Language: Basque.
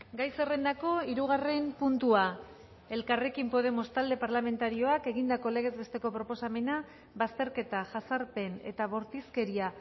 gai zerrendako hirugarren puntua elkarrekin podemos talde parlamentarioak egindako legez besteko proposamena bazterketa jazarpen eta bortizkeria